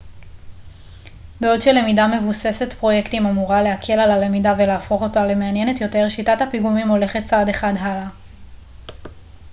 בעוד שלמידה מבוססת פרויקטים אמורה להקל על הלמידה ולהפוך אותה למעניינת יותר שיטת הפיגומים הולכת צעד אחד הלאה